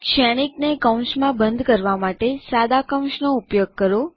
શ્રેણીકને કૌંસમાં બંધ કરવા માટે સાદા કૌંસ એટલે કે નો ઉપયોગ કરો